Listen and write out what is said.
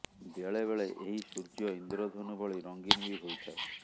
ବେଳେ ବେଳେ ଏହି ସୂର୍ଯ୍ୟ ଇନ୍ଦ୍ରଧନୁ ଭଳି ରଙ୍ଗୀନ ବି ହୋଇଥାଏ